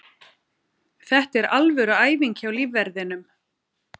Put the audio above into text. Þetta er alvöru æfing hjá lífverðinum.